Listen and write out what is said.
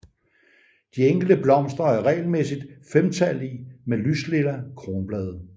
De enkelte blomster er regelmæssigt femtallige med lyslilla kronblade